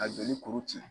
A joli kuru ci